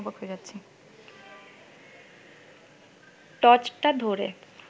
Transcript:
টর্চটা ধরে